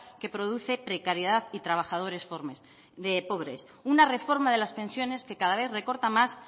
que produce precariedad y trabajadores pobres una reforma de las pensiones que cada vez recorta más